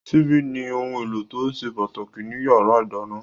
Ṣíbí ni ohun èlò tó ṣe pàtàkì ní yàrá ìdáná